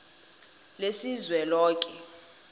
lesizweloke